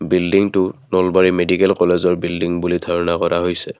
বিল্ডিংটো নলবাৰী মেডিকেল কলেজৰ বিল্ডিং বুলি ধাৰণা কৰা হৈছে।